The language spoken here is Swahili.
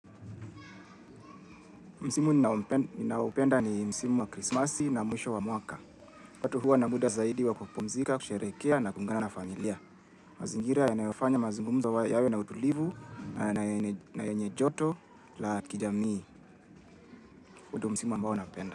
Msimu ninaoupenda ni msimu wa krismasi na mwisho wa mwaka. Watu huwa na muda zaidi wa kupumzika, kusherehekea na kuungana na familia. Mazingira yanayofanya mazungumzo yawe na utulivu, na yenye joto, la kijamii. Huu ndo msimu ambao napenda.